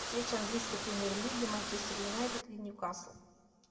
встреча английской премьер лиги манчестер юнайтед и ньюкасл